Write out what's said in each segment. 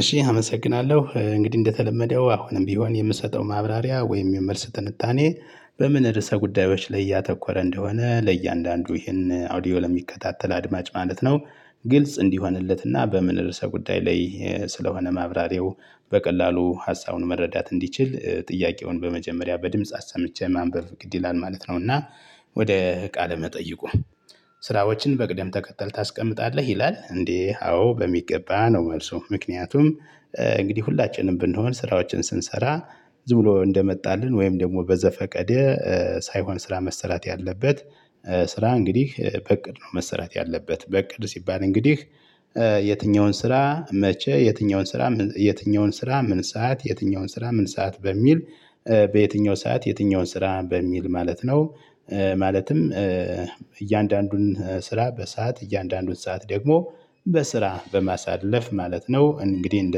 እሺ አመሰግናለሁ፣ እንግዲህ እንደተለመደው አሁንም ቢሆን የምሰጠው ማብራሪያ ወይም የመልስ ትንታኔ፣ በምን ርዕሰ ጉዳዮች ላይ እያተኮረ እንደሆነ ለእያንዳንዱ ይህን አውዲዮ ለሚከታተል አድማጭ ማለት ነው። ግልጽ እንዲሆንለት እና በምን ርዕሰ ጉዳይ ላይ ስለሆነ ማብራሪያው። በቀላሉ ሀሳቡን መረዳት እንዲችል ጥያቄውን በመጀመሪያ በድምጽ አሰምቼ ማንበብ ግድ ይላል ማለት ነው። እና ወደ ቃለ መጠይቁ፣ ስራዎችን በቅደም ተከተል ታስቀምጣለህ? ይላል እንዴ! አዎ በሚገባ ነው መልሱ። ምክንያቱም እንግዲህ ሁላችንም ብንሆን ስራዎችን ስንሰራ ዝም ብሎ እንደመጣልን ወይም ደግሞ በዘፈቀደ ሳይሆን ስራ መሰራት ያለበት ስራ እንግዲህ በእቅድ ነው መሰራት ያለበት። በእቅድ ሲባል እንግዲህ የትኛውን ስራ መቼ? የትኛውን ስራ ምን ሰዓት? የትኛውን ስራ ምን ሰዓት? በሚል፣ በየትኛው ሰዓት የትኛውን ስራ? በሚል ማለት ነው። ማለትም እያንዳንዱን ስራ በሰአት እያንዳንዱን ሰዓት ደግሞ በስራ በማሳለፍ ማለት ነው። እንግዲህ እንደ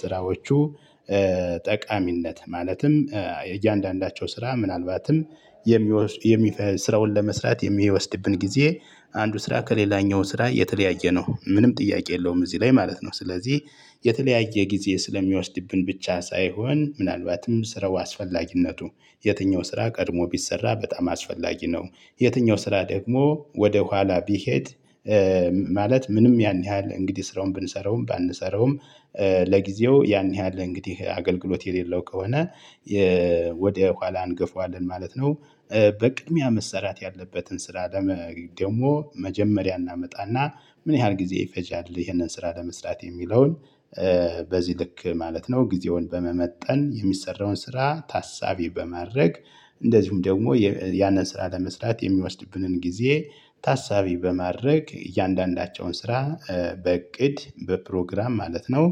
ስራዎቹ ጠቃሚነት ማለትም እያንዳንዳቸው ስራ ምናልባትም ስራውን ለመስራት የሚወስድብን ጊዜ፣ አንዱ ስራ ከሌላኛው ስራ የተለያየ ነው፤ ምንም ጥያቄ የለውም እዚህ ላይ ማለት ነው። ስለዚህ የተለያየ ጊዜ ስለሚወስድብን ብቻ ሳይሆን ምናልባትም ስራው አስፈላጊነቱ የትኛው ስራ ቀድሞ ቢሰራ በጣም አስፈላጊ ነው። የትኛው ስራ ደግሞ ወደ ኋላ ቢሄድ ማለት ምንም ያን ያህል እንግዲህ ስራውን ብንሰራውም ባንሰራውም ለጊዜው ያን ያህል እንግዲህ አገልግሎት የሌለው ከሆነ፣ ወደ ኋላ እንገፋዋለን ማለት ነው። በቅድሚያ መሰራት ያለበትን ስራ ደግሞ መጀመሪያ እናመጣ እና ምን ያህል ጊዜ ይፈጃል? ይህንን ስራ ለመስራት የሚለውን በዚህ ልክ ማለት ነው ጊዜውን በመመጠን የሚሰራውን ስራ ታሳቢ በማድረግ እንደዚሁም ደግሞ ያንን ስራ ለመስራት የሚወስድብንን ጊዜ ታሳቢ በማድረግ እያንዳንዳቸውን ስራ በእቅድ በፕሮግራም ማለት ነው፤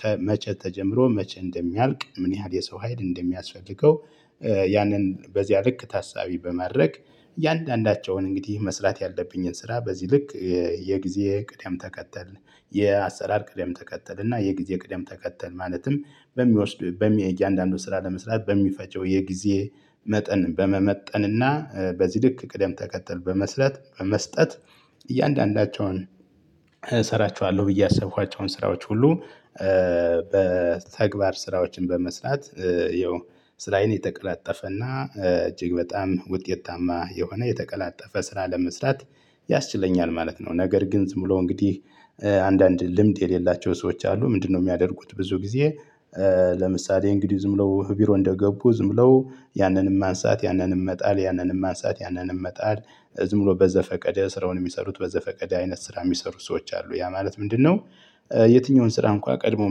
ከመቼ ተጀምሮ መቼ እንደሚያልቅ ምን ያህል የሰው ሀይል እንደሚያስፈልገው ያንን በዚያ ልክ ታሳቢ በማድረግ እያንዳንዳቸውን እንግዲህ መስራት ያለብኝን ስራ በዚህ ልክ የጊዜ ቅደም ተከተል፣ የአሰራር ቅደም ተከተል እና የጊዜ ቅደም ተከተል ማለትም በሚወስደው እያንዳንዱን ስራ ለመስራት በሚፈጀው የጊዜ መጠን በመመጠን እና በዚህ ልክ ቅደም ተከተል በመስራት በመስጠት፣ እያንዳንዳቸውን እሰራችኋለሁ ብዬ ያሰብኳቸውን ስራዎች ሁሉ በተግባር ስራዎችን በመስራት ይኸው ስራዬን የተቀላጠፈ እና እጅግ በጣም ውጤታማ የሆነ የተቀላጠፈ ስራ ለመስራት ያስችለኛል ማለት ነው። ነገር ግን ዝም ብሎ እንግዲህ አንዳንድ ልምድ የሌላቸው ሰዎች አሉ፤ ምንድነው የሚያደርጉት ብዙ ጊዜ ለምሳሌ እንግዲህ ዝም ብለው ቢሮ እንደገቡ ዝም ብለው ያንንም ማንሳት ያንንም መጣል ያንንም ማንሳት ያንንም መጣል ዝም ብሎ በዘፈቀደ ስራውን የሚሰሩት በዘፈቀደ አይነት ስራ የሚሰሩ ሰዎች አሉ። ያ ማለት ምንድነው የትኛውን ስራ እንኳን ቀድመው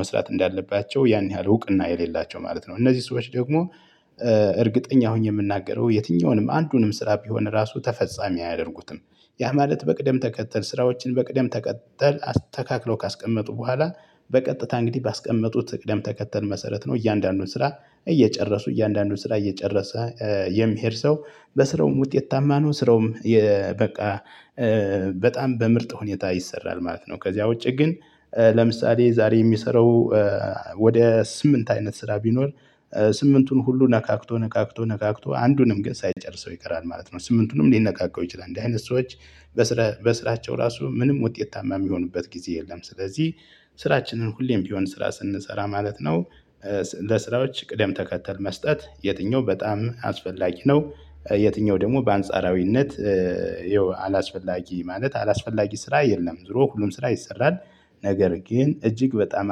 መስራት እንዳለባቸው ያን ያህል እውቅና የሌላቸው ማለት ነው። እነዚህ ሰዎች ደግሞ እርግጠኛ ሆኜ የምናገረው የትኛውንም አንዱንም ስራ ቢሆን ራሱ ተፈፃሚ አያደርጉትም። ያ ማለት በቅደም ተከተል ስራዎችን በቅደም ተከተል አስተካክለው ካስቀመጡ በኋላ፣ በቀጥታ እንግዲህ ባስቀመጡት ቅደም ተከተል መሰረት ነው። እያንዳንዱን ስራ እየጨረሱ እያንዳንዱን ስራ እየጨረሰ የሚሄድ ሰው በስራውም ውጤታማ ነው፤ ስራውም በቃ በጣም በምርጥ ሁኔታ ይሰራል ማለት ነው። ከዚያ ውጪ ግን ለምሳሌ ዛሬ የሚሰራው ወደ ስምንት አይነት ስራ ቢኖር ስምንቱን ሁሉ ነካክቶ ነካክቶ ነካክቶ አንዱንም ግን ሳይጨርሰው ይቀራል ማለት ነው። ስምንቱንም ሊነካካው ይችላል። እንዲህ አይነት ሰዎች በስራቸው ራሱ ምንም ውጤታማ የሚሆኑበት ጊዜ የለም፤ ስለዚህ ስራችንን ሁሌም ቢሆን ስራ ስንሰራ ማለት ነው ለስራዎች ቅደም ተከተል መስጠት። የትኛው በጣም አስፈላጊ ነው የትኛው ደግሞ በአንጻራዊነት ይኸው አላስፈላጊ ማለት፣ አላስፈላጊ ስራ የለም። ዞሮ ሁሉም ስራ ይሰራል ነገር ግን፣ እጅግ በጣም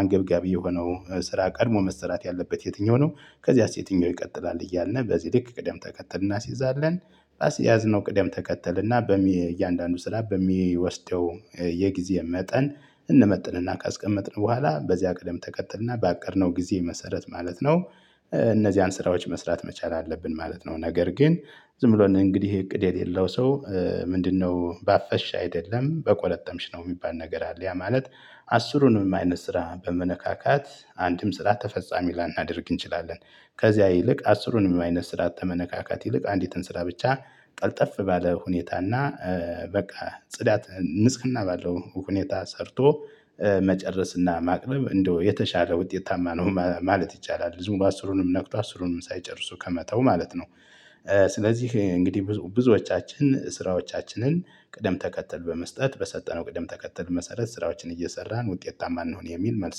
አንገብጋቢ የሆነው ስራ ቀድሞ መስራት ያለበት የትኛው ነው? ከዚያስ የትኛው ይቀጥላል እያልን በዚህ ልክ ቅደም ተከተል እናስይዛለን። ባስያዝነው ቅደም ተከተል እና እያንዳንዱ ስራ በሚወስደው የጊዜ መጠን እንመጥን እና ካስቀመጥን በኋላ በዚያ ቀደም ተከተል እና ባቀድነው ጊዜ መሰረት ማለት ነው እነዚያን ስራዎች መስራት መቻል አለብን ማለት ነው። ነገር ግን ዝም ብሎ እንግዲህ እቅድ የሌለው ሰው ምንድነው ባፈሽ አይደለም በቆረጠምሽ ነው የሚባል ነገር አለ። ያ ማለት አስሩንም አይነት ስራ በመነካካት አንድም ስራ ተፈፃሚ ላናደርግ እንችላለን። ከዚያ ይልቅ አስሩንም አይነት ስራ ከመነካካት ይልቅ አንዲትን ስራ ብቻ ቀልጠፍ ባለ ሁኔታ እና በቃ ጽዳት ንጽህና ባለው ሁኔታ ሰርቶ መጨረስ እና ማቅረብ እንደው የተሻለ ውጤታማ ነው ማለት ይቻላል። ዝም ብሎ አስሩንም ነክቶ አስሩንም ሳይጨርሱ ከመተው ማለት ነው። ስለዚህ እንግዲህ ብዙዎቻችን ስራዎቻችንን ቅደም ተከተል በመስጠት በሰጠነው ቅደም ተከተል መሰረት ስራዎችን እየሰራን ውጤታማ እንሁን የሚል መልስ